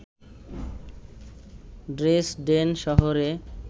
Dresden শহরে